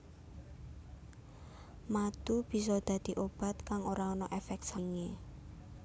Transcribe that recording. Madu bisa dadi obat kang ora ana éfék sampingé